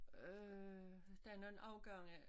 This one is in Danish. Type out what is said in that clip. Øh der nogen afgange